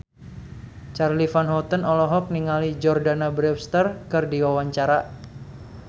Charly Van Houten olohok ningali Jordana Brewster keur diwawancara